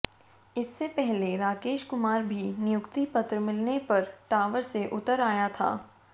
इससे पहले राकेश कुमार भी नियुक्ति पत्र मिलने पर टावर से उतर आया था